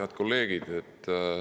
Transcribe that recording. Head kolleegid!